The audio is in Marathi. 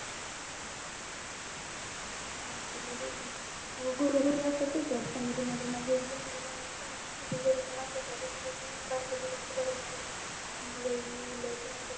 माझ त लई डोक ग घरो घरी असचय माझी एक दुसरी ननंद हाय ना तिच्या घरी पण असचय अग तिच्या पण बारक्या दिराच लग्न होईल लई लई त्रास होतो